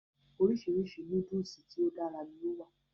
Orísirísi núdùùsì tí o dára ni o wa.